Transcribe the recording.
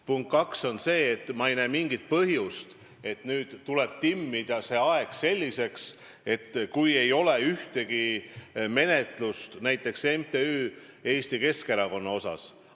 Punkt 2 on see, et ma ei näe mingit põhjust, et see aeg tuleb timmida niimoodi, et ei oleks ühtegi menetlust näiteks MTÜ Eesti Keskerakond asjus.